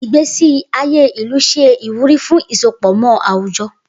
Igbesi aye ilu ṣe iwuri fun isopọmọ awujọ.